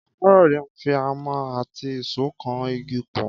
Káyọ̀dé ń fi ámà àti ìṣó kan igi pọ̀